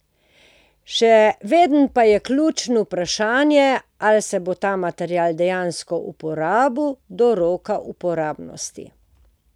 Še vedno pa je ključno vprašanje, ali se bo ta material dejansko uporabil do roka uporabnosti.